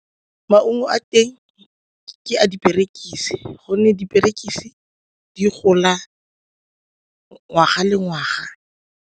Maungo a teng ke a diperekise gonne diperekise di gola ngwaga le ngwaga.